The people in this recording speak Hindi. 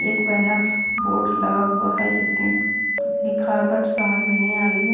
एक बैनर बोर्ड लगा हुआ है जिसमें लिखाबट समझ में नई आ रही है।